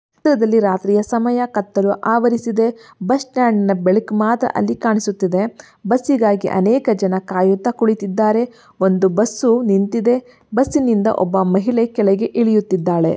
ರಾತ್ರಿಯ ಸಮಯ ಕತ್ತಲು ಆವರಿಸಿದೆ ಬಸ್ ಸ್ಟಾಂಡ್ ನ ಬೆಳಕು ಮಾತ್ರ ಅಲ್ಲಿ ಕಾಣಸ್ತಿದೆ ಬಸ್ಸಿಗಾಗಿ ಅನೇಕ ಜನ ಕಾಯುತ್ತಾ ಕುಳಿತಿದ್ದಾರೆ ಬಸ್ ನಿಂತಿದೆ ಬಸ್ ನಿಂದ ಒಬ್ಬ ಮಹಿಳೆ ಕೆಳಗೆ ಇಳಿಯುತಿದಾಳೇ.